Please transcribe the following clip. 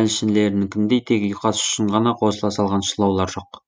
әншілерінікіндей тек ұйқас үшін ғана қосыла салған шылаулар жоқ